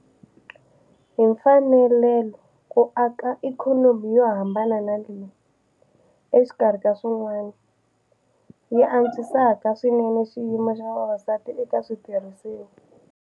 Hi fanele ku aka ikhonomi yo hambana leyi, exikarhi ka swin'wana, yi antswisaka swinene xiyimo xa vavasati eka switirhisiwa.